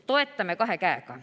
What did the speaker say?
Toetame kahe käega.